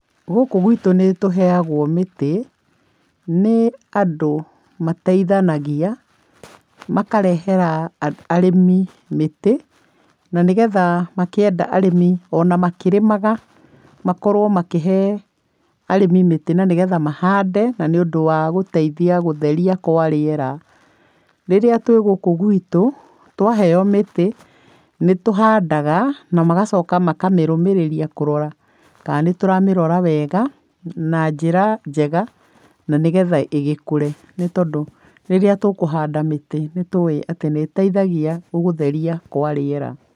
Gũkũ gwitũ nĩ tũheagwo mĩtĩ nĩ andũ mateithanagia makarehera arĩmi mĩtĩ na nĩ geha makĩenda rĩmi ona makĩrĩmaga makorwo makĩhe arĩmi mĩtĩ na nĩ getha mahande, na nĩ ũndũ wa gũteithia gũtheria kwa rĩera. Rĩu gũkũ gwitũ twaheo mĩtĩ nĩ tũhandaga na magacoka makamĩrũmĩrĩria kũrora kana nĩ tũramĩrora wega na njĩra njega na nĩ getha ĩgĩkũre. Tondũ rĩrĩa tũkũhanda mĩtĩ nĩ tũĩ atĩ nĩ ĩteithagia gũtheria kwa rĩera.